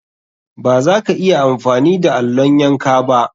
Baza ka iya amfani da allon yanka ba.